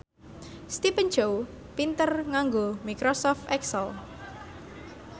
Stephen Chow pinter nganggo microsoft excel